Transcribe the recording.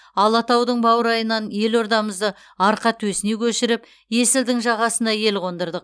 алатаудың баурайынан елордамызды арқа төсіне көшіріп есілдің жағасына ел қондырдық